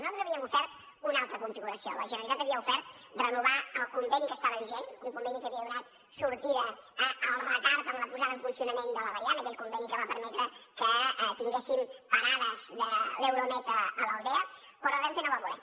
nosaltres havíem ofert una altra configuració la generalitat havia ofert renovar el conveni que estava vigent un conveni que havia donat sortida al retard en la posada en funcionament de la variant aquell conveni que va permetre que tinguéssim parades de l’euromed a l’aldea però renfe no va voler